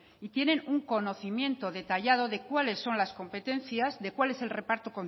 tienen un conocimiento detallado de cuáles son las competencias de cuál es el reparto